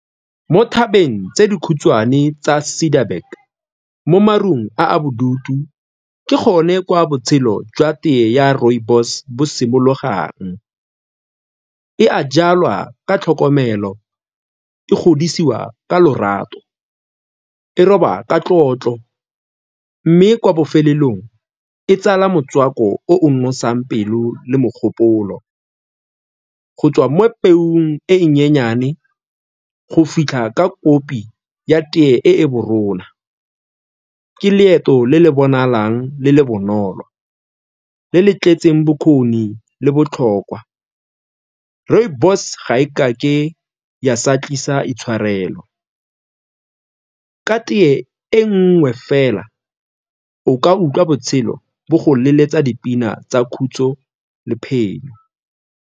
Mo thabeng tse dikhutshwane tsa Cederburg, mo marung a a bodutu, ke gone kwa botshelo jwa tee ya rooibos bo simologang. E a jalwa ka tlhokomelo, e godisiwa ka lorato, e roba ka tlotlo mme kwa bofelelong e tsala motswako o o nosang pelo le mogopolo. Go tswa mo pelong e e nyenyane go fitlha ka kopi ya tee e , ke leeto le le bonalang le le bonolo le le tletseng bokgoni le botlhokwa. Rooibos ga e ka ke ya sa tlisa itshwarelo, ka tee e nngwe fela, o ka utlwa botshelo bo go leletsa dipina tsa khutso le phenyo.